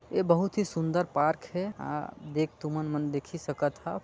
ए बहुत ही सुंदर पार्क हे आ देख तुमन मन देखी सकत हओ।